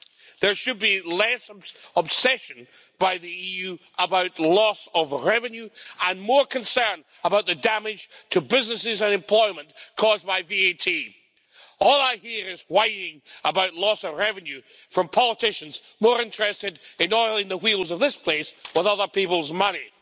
There should be less obsession by the EU with loss of revenue and more concern about the damage to businesses and employment caused by VAT. All I hear is whining about loss of revenue from politicians more interested in oiling the wheels of this place with other people's money.